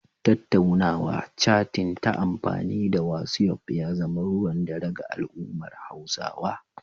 Tattaunawa/catin ta amfani da wasi'of ya zama ruwan dare ga al'ummar Hausawa.